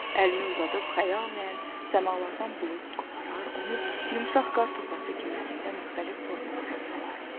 Əlini uzadıb xəyalən səmalardan bulud qoparar, onu yumşaq qartopası kimi əlində müxtəlif formalara salardı.